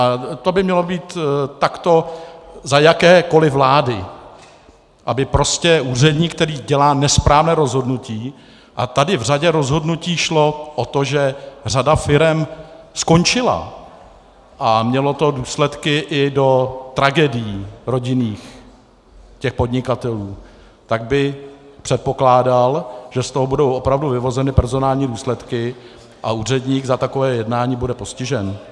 A to by mělo být takto za jakékoli vlády, aby prostě úředník, který dělá nesprávné rozhodnutí - a tady v řadě rozhodnutí šlo o to, že řada firem skončila, a mělo to důsledky i do tragédií rodinných těch podnikatelů, tak bych předpokládal, že z toho budou opravdu vyvozeny personální důsledky a úředník za takové jednání bude postižen.